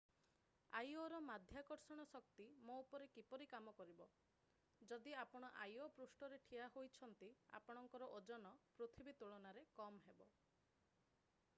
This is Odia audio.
ଆଇଓର ମାଧ୍ୟାକର୍ଷଣ ଶକ୍ତି ମୋ ଉପରେ କିପରି କାମ କରିବ ଯଦି ଆପଣ ଆଇଓ ପୃଷ୍ଠରେ ଠିଆ ହୋଇଛନ୍ତି ଆପଣଙ୍କର ଓଜନ ପୃଥିବୀ ତୁଳନାରେ କମ୍ ହେବ